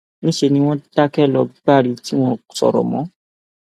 níṣẹ ni wọn dákẹ lọ gbári tí wọn ò sọrọ mọ